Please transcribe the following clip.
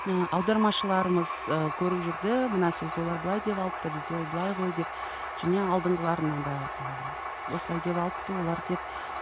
ы аудармашыларымыз ы көріп жүрді мына сөзді олар былай деп алыпты бізде ол былай ғой деп және алдыңғыларына да ы осылай деп алыпты олар деп